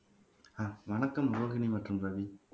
வணக்கம் ரோஹினி மற்றும் ரவி